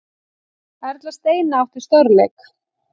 Erla Steina átti stórleik